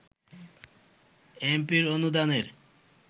এমপির অনুদানের